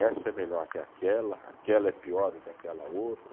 Essa é melhor que aquela, aquela é pior do que aquela outra.